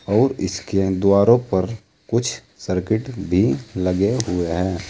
और इसके द्वारों पर कुछ सर्किट भी लगे हुए हैं।